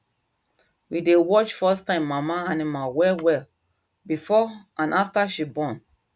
we dey watch firsttime mama animal well well before and after she born